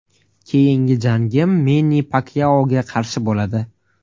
Keyingi jangim Menni Pakyaoga qarshi bo‘ladi.